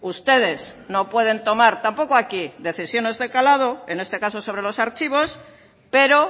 ustedes no pueden tomar tampoco aquí decisiones de calado en este caso sobre los archivos pero